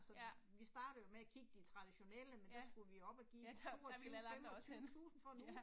Ja. Ja. Ja, der, der ville alle andre også hen, ja